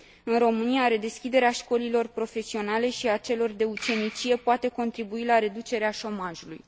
În România, redeschiderea școlilor profesionale și a celor de ucenicie poate contribui la reducerea șomajului.